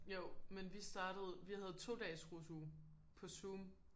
Jo men vi startede vi havde 2 dages rusuge på Zoom